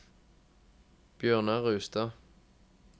Bjørnar Rustad